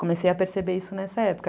Comecei a perceber isso nessa época.